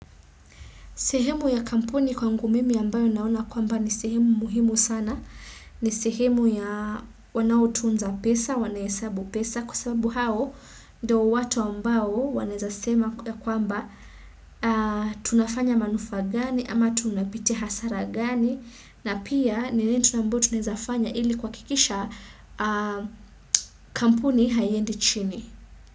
Sehemu ya kampuni kwangu mimi ambayo naona kwamba ni sehemu muhimu sana. Ni sehemu ya wanaotunza pesa, wanahesabu pesa. Kwa sababu hao ndo watu ambao wanaezasema ya kwamba tunafanya manufaa gani ama tunapitia hasara gani. Na pia nini tu ambayo tunawezafanya ili kuhakikisha kampuni haiendi chini.